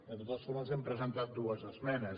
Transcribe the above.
de totes formes hem presentat dues esmenes